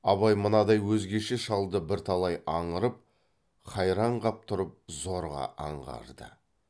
абай мынадай өзгеше шалды бірталай аңырып хайран қап тұрып зорға аңғарды